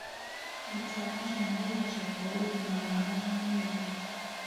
Gũtũara ciana igacekwo ũgima wao wa mwĩrĩ